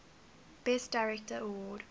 best director award